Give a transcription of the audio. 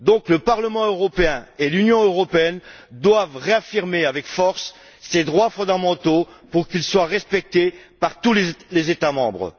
Le Parlement européen et l'Union européenne doivent donc réaffirmer avec force ces droits fondamentaux pour qu'ils soient respectés par tous les États membres.